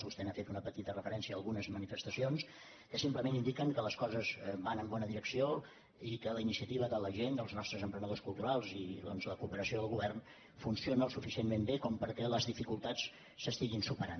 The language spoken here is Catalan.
vostè ha fet una petita referència a algunes manifestacions que simplement indiquen que les coses van en bona direcció i que la iniciativa de la gent dels nostres emprenedors culturals i la cooperació del govern funciona suficientment bé perquè les dificultats s’estiguin superant